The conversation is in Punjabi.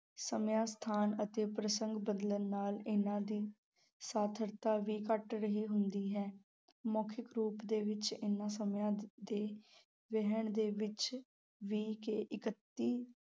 ਸਮਾਂ, ਸਥਾਨ ਅਤੇ ਪ੍ਰਸੰਗ ਬਦਲਣ ਨਾਲ ਇਹਨਾਂ ਦੀ ਸਾਰਥਕਤਾ ਵੀ ਘੱਟ ਰਹੀ ਹੁੰਦੀ ਹੈ, ਮੌਖਿਕ ਰੂਪ ਦੇ ਵਿੱਚ ਇਹਨਾਂ ਸਮਿਆਂ ਦੇ ਵਹਿਣ ਦੇ ਵਿੱਚ ਵਹਿ ਕੇ ਇਕੱਤੀ